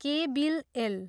के बिल एल।